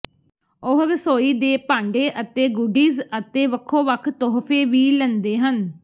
ਉਹ ਰਸੋਈ ਦੇ ਭਾਂਡੇ ਅਤੇ ਗੁਡੀਜ਼ ਅਤੇ ਵੱਖੋ ਵੱਖ ਤੋਹਫੇ ਵੀ ਲੈਂਦੇ ਹਨ